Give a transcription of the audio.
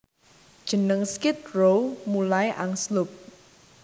Jeneng Skid Row mulai angslup